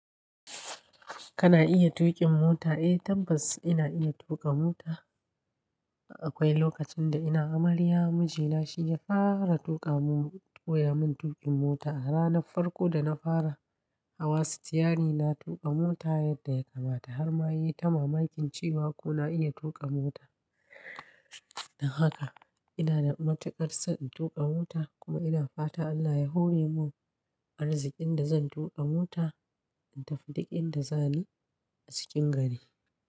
Kana iya tuƙin mota? Eh tabbas ina iya tuƙa mota. Akwai lokacin da ina amarya, mijina shi ya fara tuƙa mun, koya mun tuƙin mota. A ranar farko da na fara hawa sitiyari na tuƙa mota yadda ya kamata har ma yi ta mamakin cewa kuna iya tuƙa mota. Don haka ina da matuƙar so in tuƙa mota kuma ina fata Allah ya hore mun arzikin da zan tuƙa mota, in tafi duk inda zani a cikin gari.